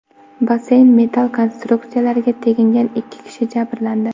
Basseyn metall konstruksiyalariga tegingan ikki kishi jabrlandi.